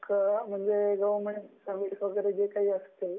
गव्हर्न्मेंटचे वैगेरे जे काही असतील